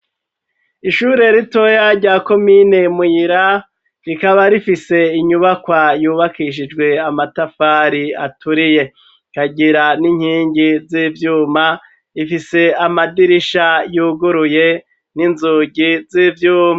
Ishure ritoya rya komine muyira rikaba rifise inyubakwa yubakishijwe amatafari aturiye rikagira n'inkingi z'ivyuma ifise amadirisha yuguruye n'inzugi z'ivyuma.